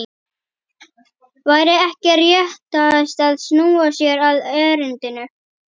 Væri ekki réttast að snúa sér að erindinu?